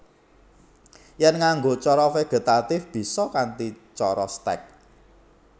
Yèn nganggo cara vegetatif bisa kanthi cara stèk